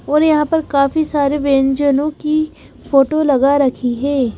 और यहां पर काफी सारे व्यंजनों की फोटो लगा रखी है।